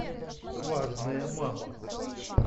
важная мама